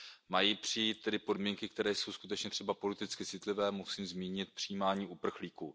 Mají přijít tedy podmínky, které jsou skutečně třeba politicky citlivé, musím zmínit přijímání uprchlíků.